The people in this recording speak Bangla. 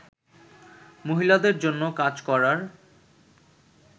মহিলাদের জন্য কাজ করার